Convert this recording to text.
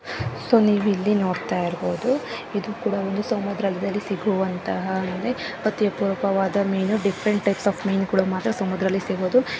So ನೀವ್ ಇಲ್ಲಿ ನೋಡ್ತಾ ಇರ್ಬೋದು ಇದು ಕೂಡ ಒಂದು ಸಮುದ್ರದಲ್ಲಿ ಸಿಗುವಂತಹ ಅಂದ್ರೆ ಪಥ್ಯ ಪೂರಕವಾದ ಮೀನು ಡಿಫರೆಂಟ್ ಟೈಪ್ಸ್ ಆಫ್ ಮೀನ್ಗುಳು ಮಾತ್ರ ಸಮುದ್ರದಲ್ಲಿ ಸಿಗೋದು.